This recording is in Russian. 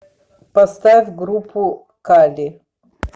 поставь группу кали